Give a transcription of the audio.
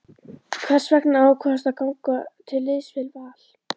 Hvers vegna ákvaðstu að ganga til liðs við Val?